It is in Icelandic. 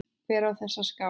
Hver á þessa skál?